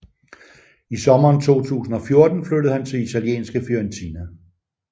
I sommeren 2014 flyttede han til italienske Fiorentina